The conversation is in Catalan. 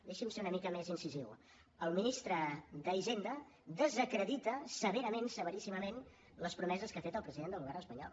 deixi’m ser una mica més incisiu el ministre d’hisenda desacredita severament severíssimament les promeses que ha fet el president del govern espanyol